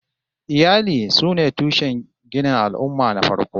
Iyali sune tushen ginin al'ummah na farko